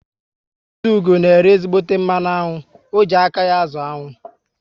Ezeugo na ere ezígbóté mmanụ aṅụ, o ji aka ya azụ aṅụ